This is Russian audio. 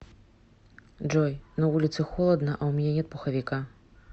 джой на улице холодно а у меня нет пуховика